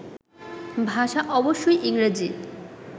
ভাষা অবশ্যই ইংরেজি